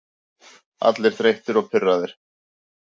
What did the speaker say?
Allir þreyttir og pirraðir.